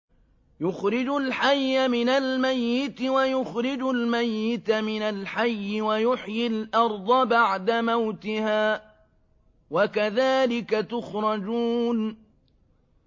يُخْرِجُ الْحَيَّ مِنَ الْمَيِّتِ وَيُخْرِجُ الْمَيِّتَ مِنَ الْحَيِّ وَيُحْيِي الْأَرْضَ بَعْدَ مَوْتِهَا ۚ وَكَذَٰلِكَ تُخْرَجُونَ